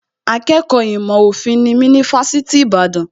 Akẹ́kọ̀ọ́ ìmọ̀ òfin nimí ní Fásitì Ìbàdàn